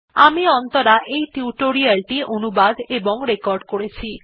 আমি অন্তরা এই টিউটোরিয়াল টি অনুবাদ এবং রেকর্ড করেছি